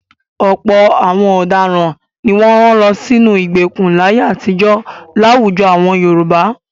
Ọ̀pọ̀ àwọn ọ̀daràn ni wọ́n rán lọ sínú ìgbèkùn láyé àtijọ́ láwùjọ àwọn Yorùbá.